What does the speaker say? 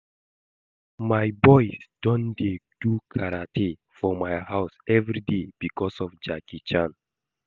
My boys don dey do karate for my house everyday because of Jackie Chan